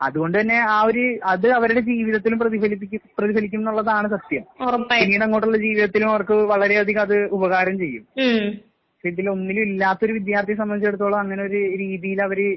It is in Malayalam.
അതുകൊണ്ടുതന്നെ ആ ഒര് അത് അവരുടെ ജീവിതത്തിലും പ്രതിഫലിപ്പിക്കും, പ്രതിഫലിക്കുംന്നുള്ളതാണ് സത്യം. പിന്നീട് അങ്ങോട്ടുള്ള ജീവിതത്തിലും അവർക്ക് വളരെ അധികം അത് ഉപകാരം ചെയ്യും. ഇതില് ഒന്നിലും ഇല്ലാത്തൊരു വിദ്യാർത്ഥിയെ സംബന്ധിച്ചിടത്തോളം അങ്ങനെ ഒര് രീതിയില് അവര്